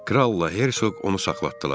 Kral Hertsog onu saxlatdılar.